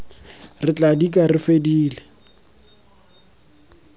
re tla dika re fedile